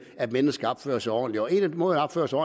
at mennesker opfører sig ordentligt en af måderne at opføre sig